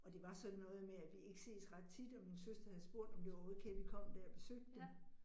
Og det var sådan noget med, at vi ikke ses ret tit, og min søster havde spurgt, om det var okay, vi kom dér og besøgte dem